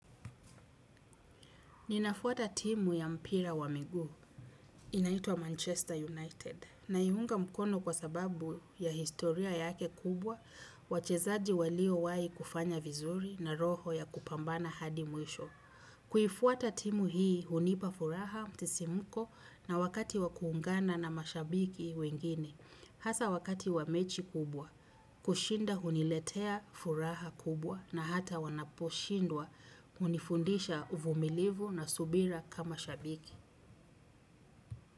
Ninafuata timu ya mpira wa miguu, inaitwa Manchester United, na ihunga mkono kwa sababu ya historia yake kubwa, wachezaji walio wai kufanya vizuri na roho ya kupambana hadi mwisho. Kuifuata timu hii hunipa furaha, msisimko na wakati wa kuungana na mashabiki wengine. Hasa wakati wa mechi kubwa, kushinda huniletea furaha kubwa na hata wanaposhindwa hunifundisha uvumilivu na subira kama shabiki.